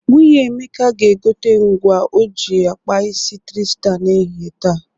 Nwunye Emeka ga-egote ngwa ọ ga-eji akpa isi trịsta n'ehihie taa.